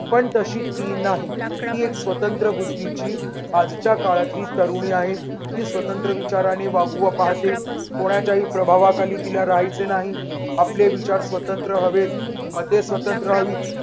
पण तशी ती नाही. ती एक स्वतंत्र बुध्दीची आजच्या काळातील तरुणी आहे. ती स्वतंत्र विचाराने वागवा पाहते. कोणाच्याही प्रभावाखाली तिला राहायचं नाही. आपले विचार स्वतंत्र हवेत. मते स्वतंत्र हवित.